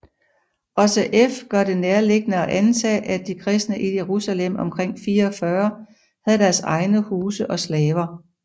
Også f gør det nærliggende at antage at de kristne i Jerusalem omkring 44 havde deres egne huse og slaver